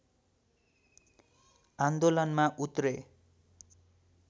आन्दोलनमा उत्रे